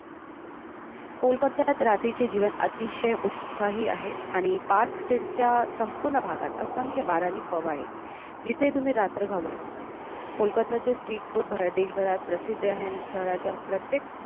कोलकत्तात रात्रीचे जीवन अतिशय उत्साही आहे आणि park stade च्या संपूर्ण भागात असंख्य bar आणि pub आहेत जिथे तुम्ही रात्र घालवू शकता. कोलकत्ताचे street food भारत देशभरात प्रसिद्ध आहे आणि शहराच्या प्रत्येक